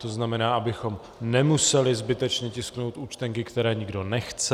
To znamená, abychom nemuseli zbytečně tisknout účtenky, které nikdo nechce.